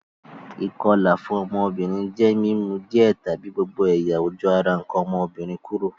Ìkolà fun ọ́mọ́bìnrin je mi mu díẹ̀ tàbi gbogbo ẹ̀yà-ojú ara nkàn ọ́mọ́bìnrin kúrò.